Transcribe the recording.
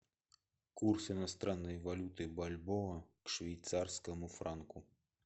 курс иностранной валюты бальбоа к швейцарскому франку